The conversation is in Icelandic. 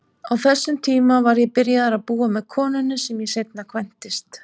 Á þessum tíma var ég byrjaður að búa með konunni sem ég seinna kvæntist.